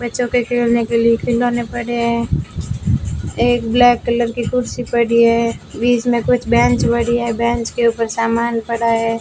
बच्चों के खेलने के लिए खिलौने पड़े हैं एक ब्लैक कलर की कुर्सी पड़ी है बीच में कुछ बेंच पड़ी है बेंच के ऊपर सामान पड़ा है।